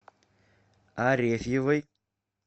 арефьевой